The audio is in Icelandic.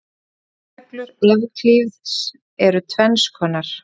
Frumreglur Evklíðs eru tvenns konar.